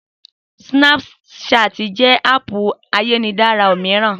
Sínápú ṣáàtì jẹ́ háàpù ayélujára mìíràn